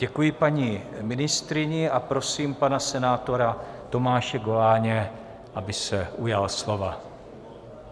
Děkuji paní ministryni a prosím pana senátora Tomáše Goláně, aby se ujal slova.